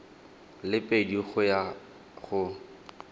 le pedi go ya go